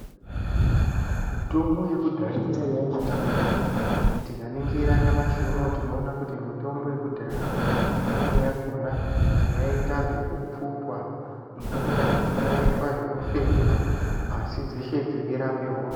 Mitombo yekudhaya yaiya yakanaka maning. Tikaningira nyamashi unowu tinoona kuti mitombo yekudhaya, mimweni yakhona yaiita zvekupfutwa, imweni yakhona yaiitwa zvekufembwa asi dzeshe dzeirape hosha.